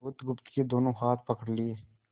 बुधगुप्त के दोनों हाथ पकड़ लिए